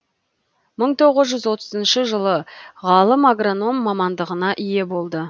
мың тоғыз жүз отызыншы жылы ғалым агроном мамандығына ие болды